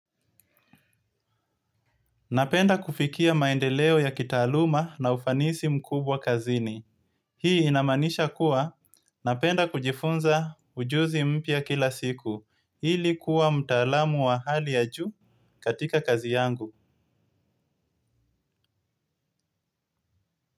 Napenda kufikia maendeleo ya kitaaluma na ufanisi mkubwa kazini. Hii inamanisha kuwa napenda kujifunza ujuzi mpia kila siku. Hili kuwa mtaalamu wa hali ya juu katika kazi yangu.